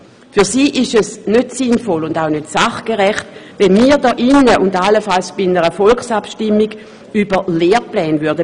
Aus Sicht der BiK ist es nicht sinnvoll und auch nicht sachgerecht, wenn man hier im Rat und allenfalls bei einer Volksabstimmung über Lehrpläne befinden würde.